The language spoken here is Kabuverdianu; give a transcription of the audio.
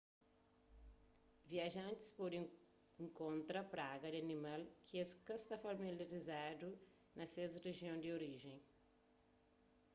viajantis pode inkontra praga di animal ki es ka sta familializadu na ses rijion di orijen